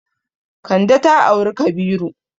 Kande ta auri Kabiru.